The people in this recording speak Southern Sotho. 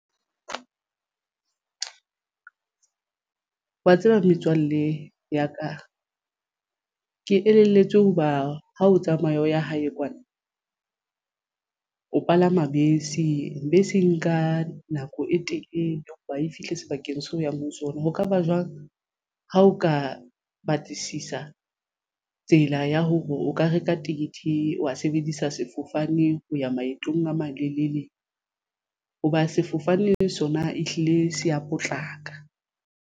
Wa tseba metswalle ya ka ke elelletswe hoba ha o tsamaya o ya hae kwana o palama bese. Bese e nka nako e telele hoba e fihle sebakeng seo e yang ho sona. Ho kaba jwang ha o ka batlisisa tsela ya hore o ka reka ticket wa sebedisa sefofane ho ya maetong a malelele hoba sefofane sona ehlile se ya potlaka.